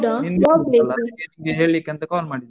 ನಿಂಗೆ ಗೊತ್ತಿಲ್ಲಲ್ಲ. ಅದಕ್ಕೆ ನಿಂಗೆ ಹೇಳಿಕ್ಕ್ ಅಂತ call ಮಾಡಿದೆ ನಾನು.